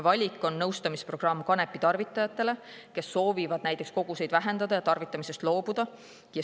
VALIK on nõustamisprogramm kanepitarvitajatele, kes soovivad kas koguseid vähendada või tarvitamisest loobuda.